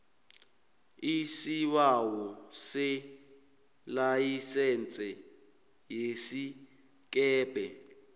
isibawo selayisense yesikebhe